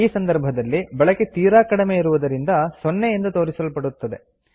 ಈ ಸಂದರ್ಭದಲ್ಲಿ ಬಳಕೆ ತೀರಾ ಕಡಿಮೆ ಇರುವುದರಿಂದ 0 ಎಂದು ತೋರಿಸಲ್ಪಡುತ್ತದೆ